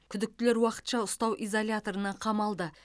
күдіктілер уақытша ұстау изоляторына қамалды